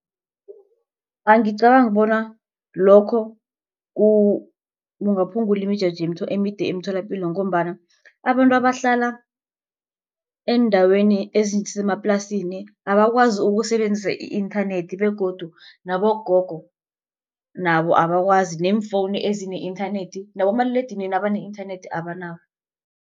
Angicabangi bona lokho kungaphulangula imijeje emide emtholapilo. Ngombana abantu abahlala eendaweni ezisemaplasini abakwazi ukusebenzisa i-internet begodu nabogogo nabo abakwazi neemfowunu ezine i-nternet nabomaliledinini abane-internet abanabo.